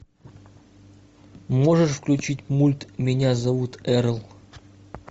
можешь включить мульт меня зовут эрл